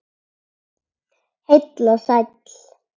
Heill og sæll.